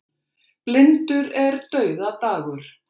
Blindur er dauðadagur.